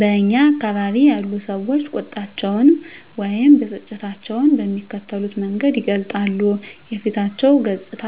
በእኛ አካባቢ ያሉ ሰዎች ቁጣቸውን ወይም ብስጭታቸውን በሚከተሉት መንገድ ይገልጻሉ:- የፊታቸው ገፅታ